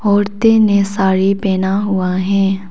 औरते ने साड़ी पहना हुआ है।